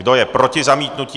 Kdo je proti zamítnutí?